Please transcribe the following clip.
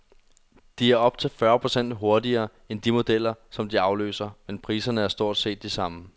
De er op til fyrre procent hurtigere end de modeller, som de afløser, men priserne er stort set de samme.